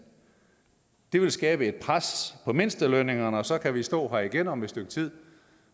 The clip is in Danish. det vil skabe et pres på mindstelønningerne og så kan vi stå her igen om et stykke tid